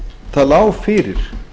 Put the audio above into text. það lá fyrir